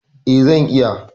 Eh, zan iya.